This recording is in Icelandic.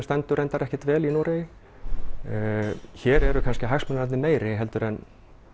stendur reyndar ekkert vel í Noregi hér eru hagsmunirnir kannski meiri en